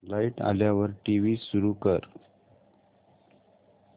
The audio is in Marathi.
लाइट आल्यावर टीव्ही सुरू कर